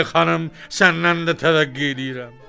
Ay xanım, səndən də təvəqqe eləyirəm.